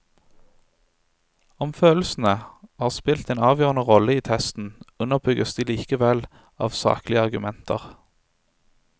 Om følelsene har spilt en avgjørende rolle i testen, underbygges de likevel av saklige argumenter.